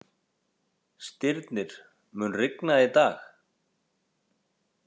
Stirnir, mun rigna í dag?